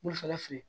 Wulafɛla fu ye